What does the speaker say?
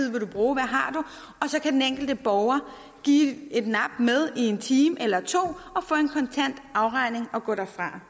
du bruge og så kan den enkelte borger give et nap med i en time eller to og få en kontant afregning og gå derfra